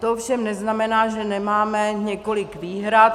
To ovšem neznamená, že nemáme několik výhrad.